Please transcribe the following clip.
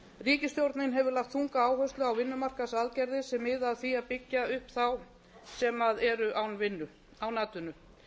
ríkisstjórnin hefur lagt þunga áherslu á vinnumarkaðsaðgerðir sem mið að því að byggja upp þá sem eru án atvinnu